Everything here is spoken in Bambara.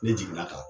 Ne jiginna ka